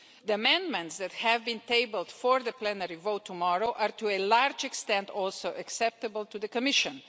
The amendments that have been tabled for the plenary vote tomorrow are to a large extent also acceptable to the Commission.